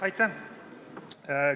Aitäh!